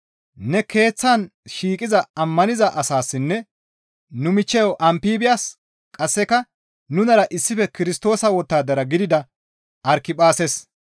ne keeththan shiiqiza ammaniza asaassinne nu michcheyo Ampibyas qasseka nunara issife Kirstoosa wottadara gidida Arkiphaases,